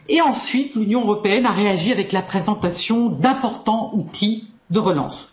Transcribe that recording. Ensuite, l'Union européenne a réagi avec la présentation d'importants outils de relance.